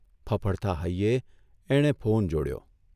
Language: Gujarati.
ફફડતા હૈયે એણે ફોન જોડ્યો.